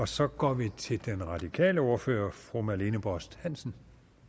så går vi til den radikale ordfører fru marlene borst hansen